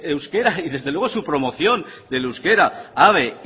euskera y desde luego su promoción del euskera habe